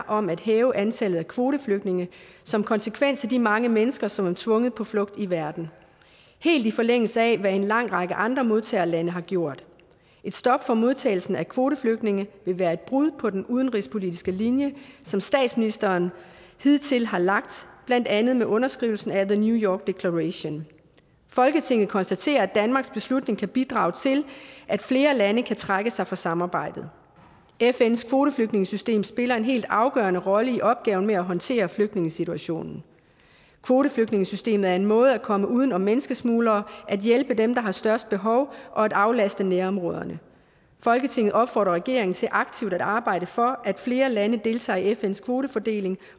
om at hæve antallet af kvoteflygtninge som konsekvens af de mange mennesker som er tvunget på flugt i verden helt i forlængelse af hvad en lang række andre modtagerlande har gjort et stop for modtagelsen af kvoteflygtninge vil være et brud på den udenrigspolitiske linje som statsministeren hidtil har lagt blandt andet med underskrivelsen af the new york declaration folketinget konstaterer at danmarks beslutning kan bidrage til at flere lande kan trække sig fra samarbejdet fns kvoteflygtningesystem spiller en helt afgørende rolle i opgaven med at håndtere flygtningesituationen kvoteflygtningesystemet er en måde at komme uden om menneskesmuglere at hjælpe dem der har størst behov og at aflaste nærområderne folketinget opfordrer regeringen til aktivt at arbejde for at flere lande deltager i fns kvotefordeling